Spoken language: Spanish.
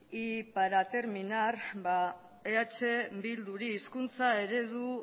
y para terminar ba eh bilduri